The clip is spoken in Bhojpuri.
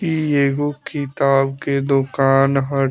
इ एगो किताब के दुकान ह।